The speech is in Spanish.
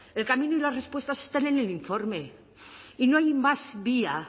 el camino y las respuestas están en el informe y no hay más vía